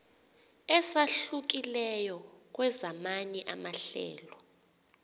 esahlukileyo kwezamanye amahlelo